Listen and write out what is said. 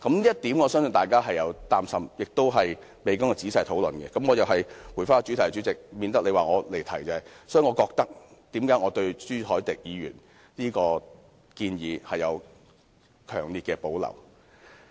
就此，我相信大家會擔心，而且未經仔細討論——我又要回到主題，代理主席，以免你說我離題——所以我對朱凱廸議員這項建議有強烈的保留。